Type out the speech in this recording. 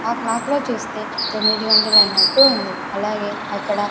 ఆ క్లాక్ లో చూస్తే తొమ్మిది గంటలయినట్టు ఉంది అలాగే అక్కడ--